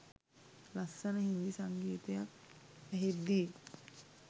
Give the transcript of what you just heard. ලස්සන හින්දි සංගීතයක් ඇහෙද්දි